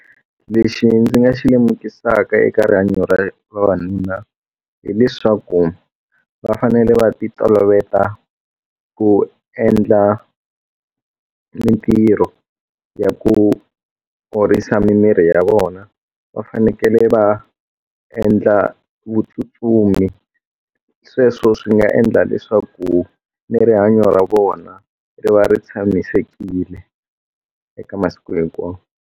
Lexi ndzi nga xi lemukisaka eka rihanyo ra vavanuna hileswaku va fanele va ti tolovela ku endla mintirho ya ku orisa mimiri ya vona va fanekele va endla vutsutsumi sweswo swi nga endla leswaku ni rihanyo ra vona ri va ri tshamisekile eka masiku hinkwawo.